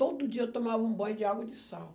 Todo dia eu tomava um banho de água de sal.